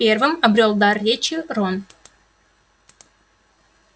первым обрёл дар речи рон